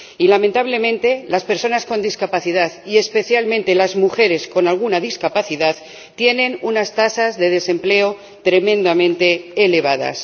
Y lamentablemente, las personas con discapacidad —y especialmente, las mujeres con alguna discapacidad— tienen unas tasas de desempleo tremendamente elevadas.